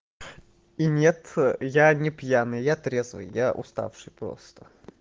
и нет я не пьяный я трезвый я уставший просто